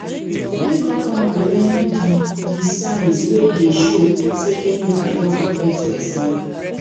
make all farmer learn the the signs wey dey show say chemical don affect person